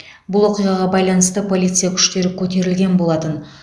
бұл оқиғаға байланысты полиция күштері көтерілген болатын